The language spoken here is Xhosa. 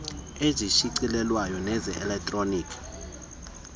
ezishicilelweyo neze elektroni